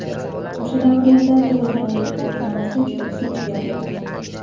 O‘sha davrlarda tug‘ilganlik guvohnomasi juda kech berilardi.